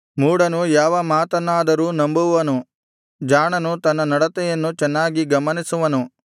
ಮೂಢನು ಯಾವ ಮಾತನ್ನಾದರೂ ನಂಬುವನು ಜಾಣನು ತನ್ನ ನಡತೆಯನ್ನು ಚೆನ್ನಾಗಿ ಗಮನಿಸುವನು